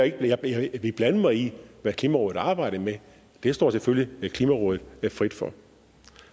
ikke at jeg vil blande mig i hvad klimarådet arbejder med det står selvfølgelig klimarådet frit for